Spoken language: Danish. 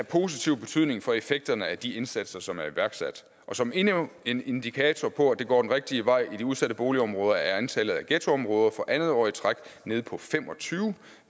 positiv betydning for effekterne af de indsatser som er iværksat og som endnu en indikator på at det går den rigtige vej i de udsatte boligområder er antallet af ghettoområder for andet år i træk nede på fem og tyve